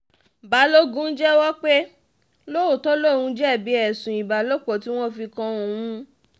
balógun jẹ́wọ́ pé lóòótọ́ lòún jẹ̀bi ẹ̀sùn ìbálòpọ̀ tí wọ́n fi kan òun